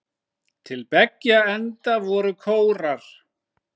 Til beggja enda voru kórar.